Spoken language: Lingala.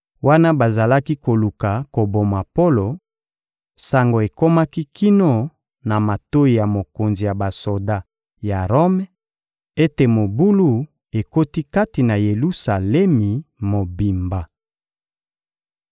Wana bazalaki koluka koboma Polo, sango ekomaki kino na matoyi ya mokonzi ya basoda ya Rome ete mobulu ekoti kati na Yelusalemi mobimba.